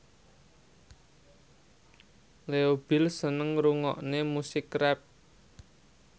Leo Bill seneng ngrungokne musik rap